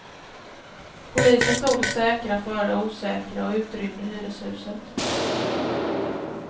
Polisen tog det säkra för det osäkra och utrymde hyreshuset.